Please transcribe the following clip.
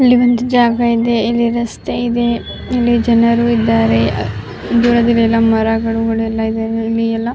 ಇಲ್ಲಿ ಒಂದು ಜಾಗ ಇದೆ ಇಲ್ಲಿ ರಸ್ತೆ ಇದೆ ಇಲ್ಲಿ ಜನರು ಇದ್ದಾರೆ. ದೂರದಲ್ಲೆಲ್ಲ ಮರಗಳು ಎಲ್ಲ ಇವೆ. ಇಲ್ಲಿ ಎಲ್ಲ --